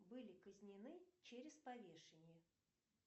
были казнены через повешение